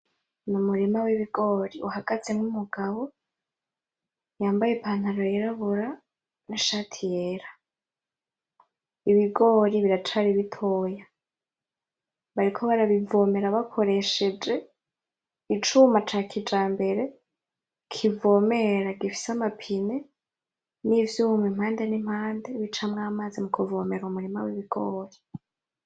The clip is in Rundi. N'umurima w'ibigori uhagazemwo umugabo yambaye ipantaro yirabura; n'ishati yera, ibigori biracari bitoya, bariko barabivomera bakoresheje icuma ca kijambere kivomera gifise amapine; n'ivyuma impande n'impande bicamwo amazi mu kuvomera umurima w'ibigori.